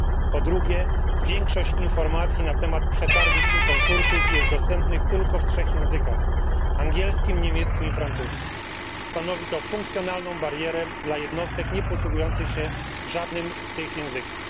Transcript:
po drugie, większość informacji na temat przetargów i konkursów jest dostępna tylko w trzech językach angielskim, niemieckim i francuskim. Stanowi to funkcjonalną barierę dla jednostek nieposługujących się żadnym z tych języków.